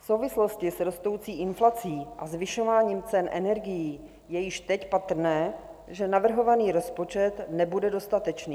V souvislosti s rostoucí inflací a zvyšováním cen energií je již teď patrné, že navrhovaný rozpočet nebude dostatečný.